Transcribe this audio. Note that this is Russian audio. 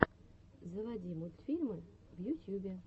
заводи мультфильмы в ютьюбе